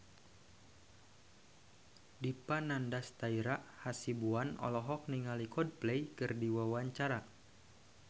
Dipa Nandastyra Hasibuan olohok ningali Coldplay keur diwawancara